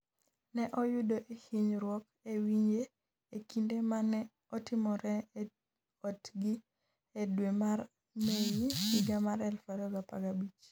Ne oyudo hinyruok e wiye e kinde ma ne otimore e otgi e dwe mar Mei higa mar 2015.